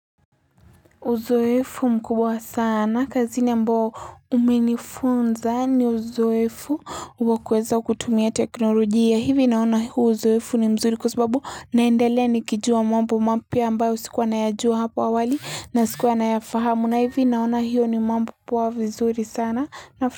Uzoefu mkubwa sana kazini ambao umenifunza ni uzoefu wa kuweza kutumia teknolojia hivi naona huu uzoefu ni mzuri kwa sababu naendelea nikijua mambo mapya ambayo sikuwa nayajua hapo awali na sikuwa nayafahamu na hivi naona hiyo ni mambo poa vizuri sana na.